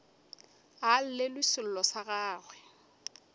a llelwe sello sa gagwe